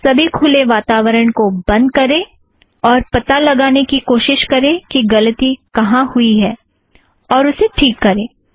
सभी खुले वातावरण को बंद करें और पता लगाने की कोशिश करें कि गलती कहाँ हुई है और उसे ठीक करें